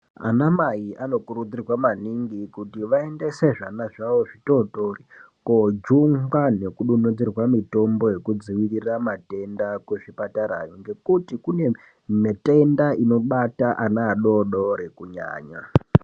Ana mai anokurudzirwa maningi kuti vaendese zvana zvavo zvitotori kojungwa nekudonhedzerwa Mitombo yekudzivirira matenda kuzvipatarayo ngekuti kune mitenda unibata ana adoko adodori kunyanya.